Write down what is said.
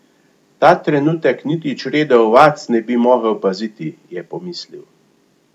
Ta trenutek niti črede ovac ne bi mogel paziti, je pomislil.